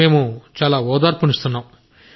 మేము చాలా ఓదార్పునిస్తున్నాం